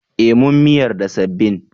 Eh mun miyar da sabbin.